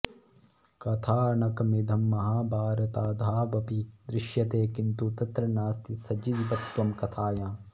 कथानकमिदं महाभारतादावपि दृश्यते किन्तु तत्र नास्ति सजीवत्वं कथायाम्